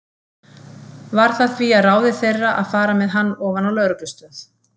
Varð það því að ráði þeirra að fara með hann ofan á lögreglustöð.